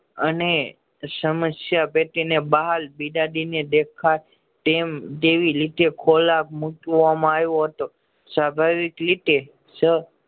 અને સમસ્યા પેટી ને બહાર બીજા ને દેખાય એમતેવી રીતે મુકવામાં આયો હતો સ્વાભાવિક રીતે